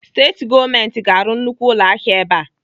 Steeti gọọmenti ga-arụ nnukwu ụlọahịa ebe a.